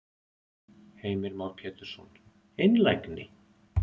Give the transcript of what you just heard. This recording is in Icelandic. Heimir Már Pétursson: Einlægni?